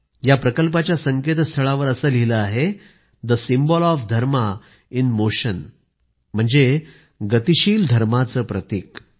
या प्रकल्पाच्या संकेतस्थळावर असं लिहिलं आहे the symbol of dharma in motion म्हणजे गतिशील धर्माचं प्रतिक